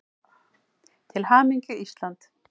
Til hamingju Ísland.